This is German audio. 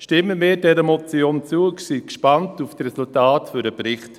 Stimmen wir dieser Motion zu und sind gespannt auf die Resultate des Berichts.